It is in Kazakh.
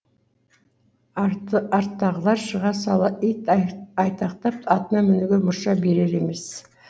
арттағылар шыға сала ит айтақтап атына мінуге мұрша берер емес